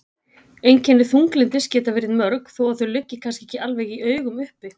Einkenni þunglyndis geta verið mörg þó að þau liggi kannski ekki alveg í augum uppi.